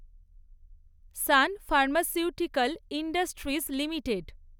San Pharmaceuticals Industries limited